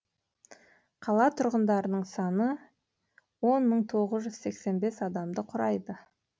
қала тұрғындарының саны он мың тоғыз жүз сексен бес адамды құрайды